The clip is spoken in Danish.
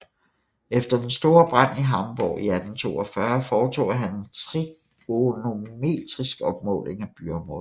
Efter den store brand i Hamborg i 1842 foretog han en trigonometrisk opmåling af byområdet